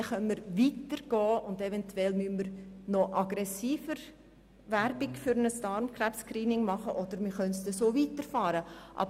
Danach können wir weitergehen und eventuell müssen wir noch aggressiver Werbung für ein Darmkrebs-Screening betreiben oder wir werden es so weiterführen können.